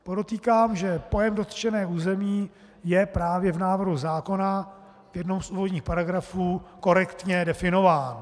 Podotýkám, že pojem dotčené území je právě v návrhu zákona v jednom z úvodních paragrafů korektně definován.